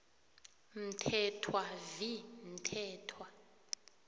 mthethwa v mthethwa